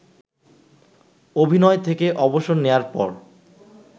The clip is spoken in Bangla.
অভিনয় থেকে অবসর নেয়ার পর